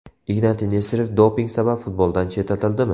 Ignatiy Nesterov doping sabab futboldan chetlatildimi?.